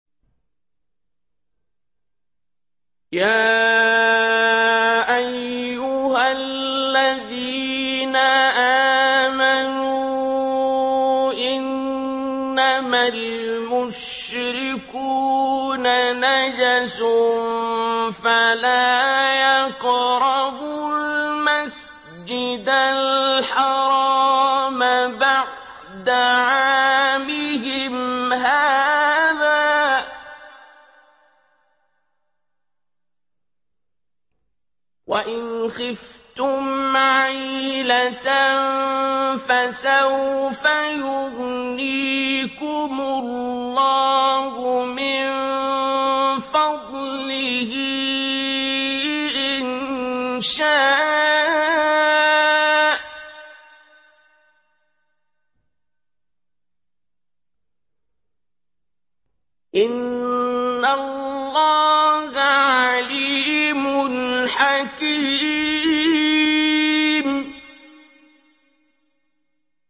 يَا أَيُّهَا الَّذِينَ آمَنُوا إِنَّمَا الْمُشْرِكُونَ نَجَسٌ فَلَا يَقْرَبُوا الْمَسْجِدَ الْحَرَامَ بَعْدَ عَامِهِمْ هَٰذَا ۚ وَإِنْ خِفْتُمْ عَيْلَةً فَسَوْفَ يُغْنِيكُمُ اللَّهُ مِن فَضْلِهِ إِن شَاءَ ۚ إِنَّ اللَّهَ عَلِيمٌ حَكِيمٌ